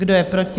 Kdo je proti?